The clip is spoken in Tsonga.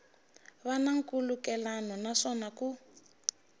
va na nkhulukelano naswona ku